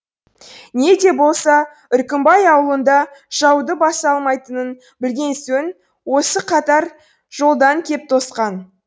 не де болса үркімбай аулында жауды баса алмайтынын білген сөн осы қатар жолдан кеп тосқан